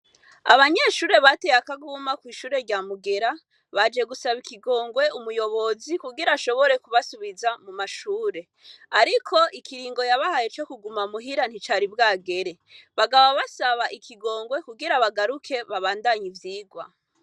Abanyeshure bateye akaguma kw'ishure rya Mugera, baje gusaba ikigogwe umuyobozi kugira ashobore kubasubiza mumashure ariko ikiringo yabahaye co kuguma muhira nticari bwagere. Bakaba basaba ikigongwe kugira bagaruke babandanye ivyigwa.